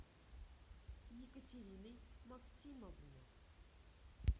екатериной максимовной